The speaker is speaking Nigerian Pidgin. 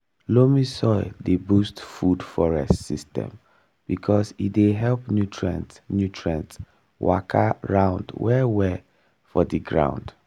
loamy soil dey boost food forest system because e dey help nutrient nutrient waka round well-well for the ground.